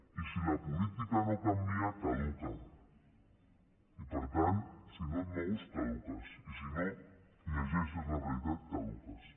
i si la política no canvia caduca i per tant si no et mous caduques i si no llegeixes la realitat caduques